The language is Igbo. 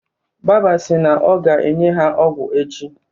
Baba sị na ọ ga-enye ha ọgwụ echi.